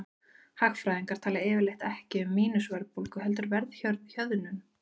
Hagfræðingar tala yfirleitt ekki um mínus-verðbólgu heldur verðhjöðnun.